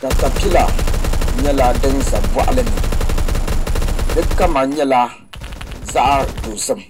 Katapila nyɛla din ʒɛ boɣali ni di kama nyɛla zaɣ dozim